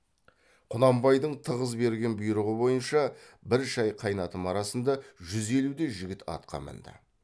құнанбайдың тығыз берген бұйрығы бойынша бір шай қайнатым арасында жүз елудей жігіт атқа мінді